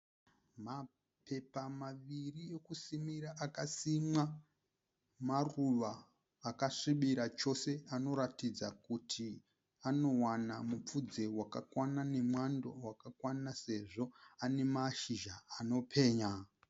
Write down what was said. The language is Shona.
Mapepa maviri ekusimira akasimwa maruva akasvibira chose anoratidza kuti anowana mupfudze wakakwana nemwando wakakwana sezvo ane mashizha anopenya.